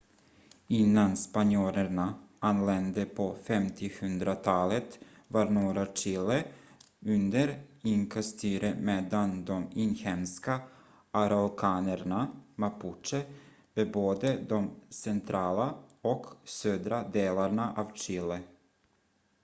innan spanjorerna anlände på 1500-talet var norra chile under inka-styre medan de inhemska araukanerna mapuche bebodde de centrala och södra delarna av chile